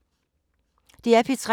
DR P3